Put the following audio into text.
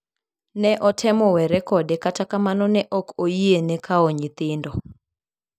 Ne otemo were kode kata kamano ne ok oyiene kawo nyithindo.